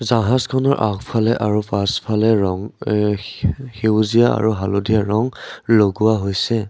জাহাজখনৰ আগফালে আৰু পাছফালে ৰং আ সেউজীয়া আৰু হালধীয়া ৰং লগোৱা হৈছে।